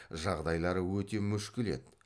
жағдайлары өте мүшкіл еді